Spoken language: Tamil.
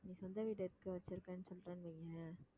சொந்த வீடு எதுக்கு வைச்சிருக்கன்னு சொல்றேன்னு வையேன்